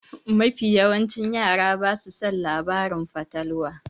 Mafi yawan yara basa son labaran fatalwa.